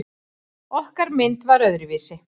Okkar mynd var öðruvísi.